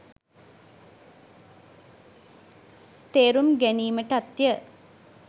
තේරුම් ගැනීමටත්ය.